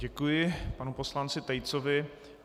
Děkuji panu poslanci Tejcovi.